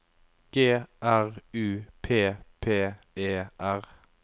G R U P P E R